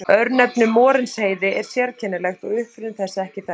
Örnefnið Morinsheiði er sérkennilegt og uppruni þess er ekki þekktur.